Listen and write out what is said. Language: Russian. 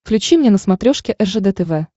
включи мне на смотрешке ржд тв